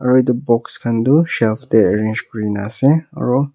aru etu box khan tu shelfs teh arrange kuri na ase aru--